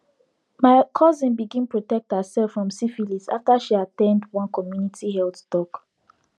my cousin bigns protect herself from syphilis after she at ten d one community health talk